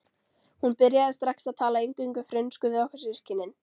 Hún byrjaði strax að tala eingöngu frönsku við okkur systkinin.